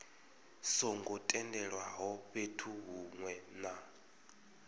songo tendelwaho fhethu hunwe na